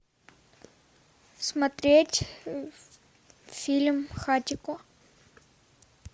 смотреть фильм хатико